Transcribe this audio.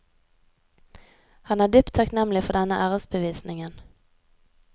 Han er dypt takknemlig for denne æresbevisningen.